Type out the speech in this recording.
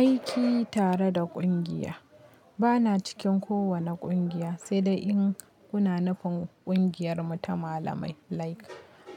Aiki tare da kungiya. Bana cikin kowane kungiya, sai dai in kuna nufin kungiyar mu ta malamai like